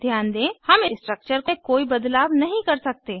ध्यान दें हम स्ट्रक्चर में कोई बदलाव नहीं कर सकते